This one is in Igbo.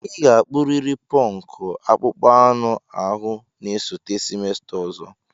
Ị ga-akpuriri punk akpụkpọ anụ ahụ na-esote semester ọzọ!